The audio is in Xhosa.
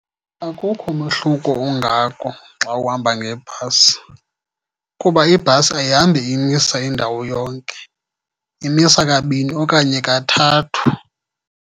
Akukho mahluko ungako xa uhamba ngebhasi kuba ibhasi ayihambi imisa indawo yonke, imisa kabini okanye kathathu.